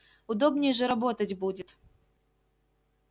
удобнее же работать будет